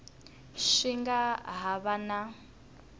swi nga ha va na